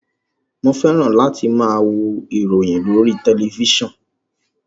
Mo fẹ́ràn láti máa wo ìròyìn lórí tẹ̀lifísàn